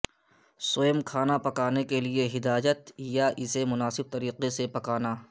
سووم کھانا پکانے کے لئے ہدایت یا اسے مناسب طریقے سے پکانا